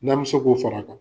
N'an be se k'o far'a kan